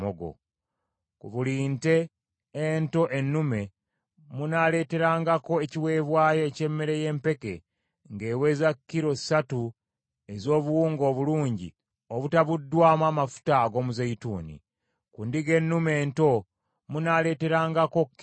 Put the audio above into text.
Ku buli nte ento ennume munaaleeterangako ekiweebwayo eky’emmere y’empeke ng’eweza kilo ssatu ez’obuwunga obulungi obutabuddwamu amafuta ag’omuzeeyituuni; ku ndiga ennume ento munaaleeterangako kilo bbiri;